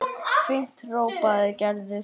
Fínt hrópaði Gerður.